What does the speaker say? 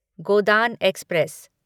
Godan express